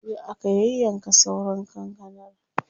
Jiya aka yayyanka sauran kankanar.